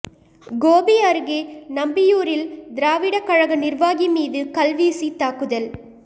கோபி அருகே நம்பியூரில் திராவிட கழக நிர்வாகி மீது கல்வீசி தாக்குதல்